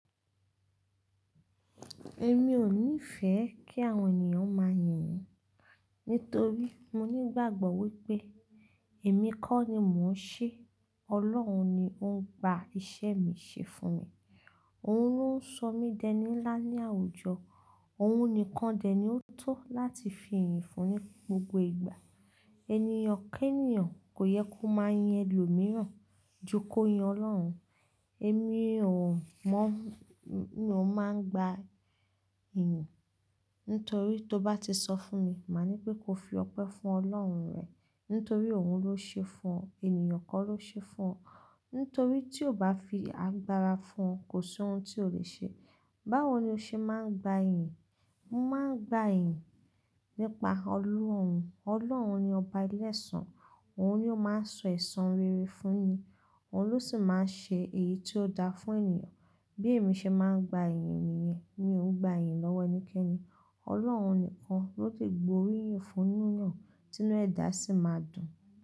Èmi ò nífẹ̀ẹ́ kí àwọn ènìyàn máa yìn mí nítorí mo ní ìgbàgbọ́ wípé èmi kọ́ ni mò ń ṣe, Ọlọ́run ni ó ń gba iṣẹ́ mi ṣe fún mi. Òun ló ń sọ mí dẹní ńlá ní àwùjọ, òun nìkan dẹ̀ ni ó tó láti fi ìyìn fún ní gbogbo ìgbà. Ènìyàn kénìyàn kò yẹ kó máa yin ẹlòmíràn ju kó yin Ọlọ́run. Èmi ò mọ́ ní mo máa ń gba ìyìn. Nítorí tó bá ti sọ fún mi, màá ní pé kó fi ọpẹ́ fún Ọlọ́run rẹ̀, nítorí òun ló ṣe fún ọ, ènìyàn kọ́ ló ṣe fún ọ. Nítorí tí ó bá fi agbára fún ọ, kò sí ohun tí o lè ṣe. Báwo ni o ṣe máa ń gba ìyìn? Mo máa ń gba ìyìn nípa Ọlọ́run. Ọlọ́run ni ọba ìlẹ̀ ẹsan, òun ni ó máa ń sọ ẹ̀san rere fún ni, òun ló sì máa ń ṣe èyí tí ó da fún ènìyàn. Bí èmi ṣe máa ń gba ìyìn mi yẹn, mi ò ń gba ìyìn lọ́wọ́ ẹnikẹ́ni. Ọlọ́run nìkan ló lè gbo orí ìyìn fún eyan tinu ẹ dá sì máa dùn.